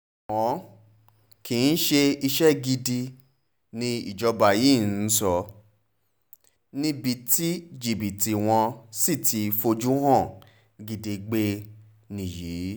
ṣùgbọ́n kì í ṣe iṣẹ́ gidi nijọba yìí ń sọ níbi tí jìbìtì wọ́n sì ti fojú hàn gedegbe nìyí